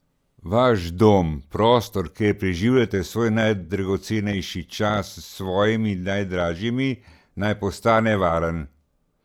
Vaš dom, prostor, kjer preživljate svoj najdragocenejši čas s svojimi najdražjimi, naj postane varen.